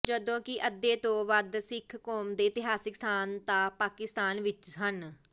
ਜਦੋਂਕਿ ਅਧੇ ਤੋਂ ਵਧ ਸਿਖ ਕੌਮ ਦੇ ਇਤਿਹਾਸਿਕ ਸਥਾਂਨ ਤਾਂ ਪਾਕਿਸਤਾਨ ਵਿਚ ਹਨ